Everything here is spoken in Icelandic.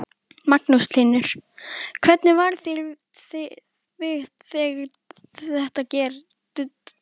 Magnús Hlynur: Hvernig varð þér við þegar þetta gerðist?